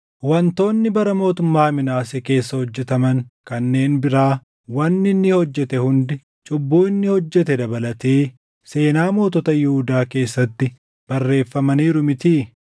Wantoonni bara mootummaa Minaasee keessa hojjetaman kanneen biraa, wanni inni hojjete hundi, cubbuu inni hojjete dabalatee seenaa mootota Yihuudaa keessatti barreeffamaniiru mitii?